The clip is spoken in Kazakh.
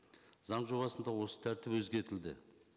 заң жобасында осы тәртіп өзгертілді